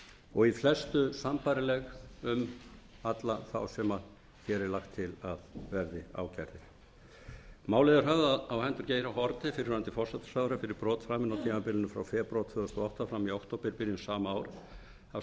og í flestu sambærileg um alla þá sem hér er lagt til að verði ákærðir málið er höfðað á hendur geir h haarde fyrrverandi forsætisráðherra fyrir brot framin á tímabili frá febrúar tvö þúsund og átta fram í októberbyrjun